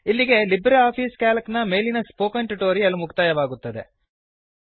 ಇಲ್ಲಿಗೆ LibreOffice C A L C ಮೇಲಿನ spoken tutorial ಮುಕ್ತಾಯವಾಗುತ್ತದೆ